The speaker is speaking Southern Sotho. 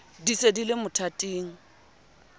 di se di le mothating